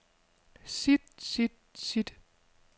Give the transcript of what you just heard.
sit sit sit